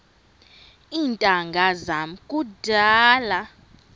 iintanga zam kudala